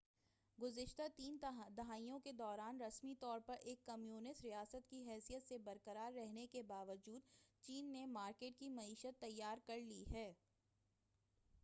گزشتہ تین دہائیوں کے دوران رسمی طور پر ایک کمیونسٹ ریاست کی حیثیت سے برقرار رہنے کے باوجود چین نے مارکیٹ کی معیشت تیار کرلی ہے